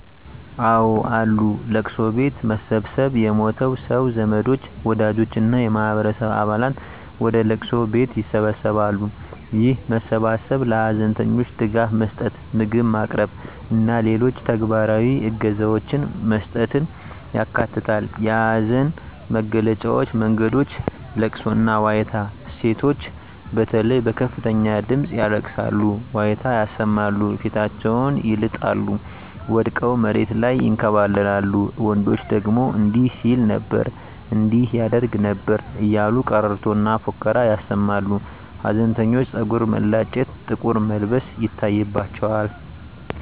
አወ አሉ፦ ለቅሶ ቤት መሰብሰብ የሞተው ሰው ዘመዶች፣ ወዳጆች እና የማህበረሰቡ አባላት ወደ ለቅሶ ቤት ይሰበሰባሉ። ይህ መሰባሰብ ለሀዘንተኞች ድጋፍ መስጠት፣ ምግብ ማቅረብ እና ሌሎች ተግባራዊ እገዛዎችን መስጠትን ያካትታል። የሀዘን መግለጫ መንገዶች * ለቅሶና ዋይታ: ሴቶች በተለይ በከፍተኛ ድምጽ ያለቅሳሉ፣ ዋይታ ያሰማሉ፣ ፊታቸውን ይልጣሉ፣ ወድቀው መሬት ላይ ይንከባለላሉ፤ ወንዶች ደግሞ እንዲህ ሲል ነበር እንዲህ ያደርግ ነበር እያሉ ቀረርቶና ፉከራ ያሰማሉ። ሀዘንተኞች ፀጉር መላጨት፣ ጥቁር መልበስ ይታይባቸዋል።